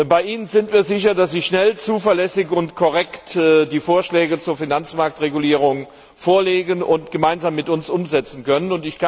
Bei Ihnen sind wir sicher, dass Sie schnell, zuverlässig und korrekt die Vorschläge zur Finanzmarktregulierung vorlegen und gemeinsam mit uns umsetzen können.